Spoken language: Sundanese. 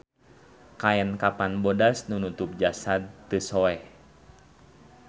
Kaen kapan bodas nu nutup jasad teu soeh